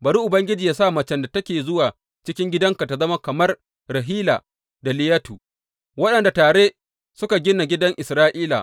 Bari Ubangiji yă sa macen da take zuwa cikin gidanka ta zama kamar Rahila da Liyatu, waɗanda tare suka gina gidan Isra’ila.